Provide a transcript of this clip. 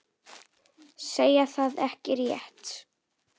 Segja það ekki rétt.